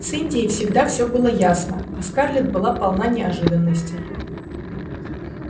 с индией всегда все было ясно а скарлетт была полна неожиданностей